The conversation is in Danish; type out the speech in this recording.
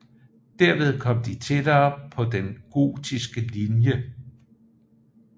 Derved kom de tættere på den Gotiske linje